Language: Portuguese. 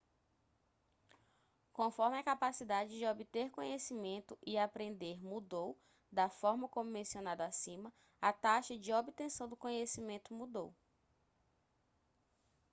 conforme a capacidade de obter conhecimento e aprender mudou da forma como mencionado acima a taxa de obtenção do conhecimento mudou